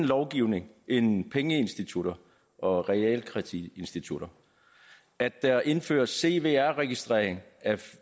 långivere end pengeinstitutter og realkreditinstitutter at der indføres cvr registrering